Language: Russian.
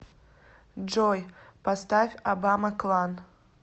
джой поставь абама клан